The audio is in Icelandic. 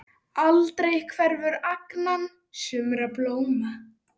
Aldrei hverfur angan sumra blóma.